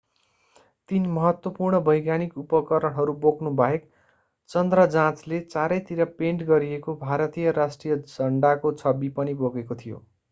तीन महत्त्वपूर्ण वैज्ञानिक उपकरणहरू बोक्नु बाहेक चन्द्र जाँचले चारै तिर पेन्ट गरिएको भारतीय राष्ट्रिय झण्डाको छवि पनि बोकेको थियो